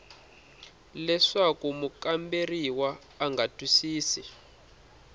leswaku mukamberiwa a nga twisisi